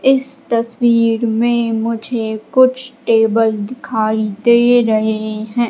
इस तस्वीर में मुझे कुछ टेबल दिखाई दे रहे हैं।